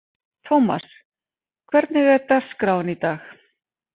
Thomas, hvernig er dagskráin í dag?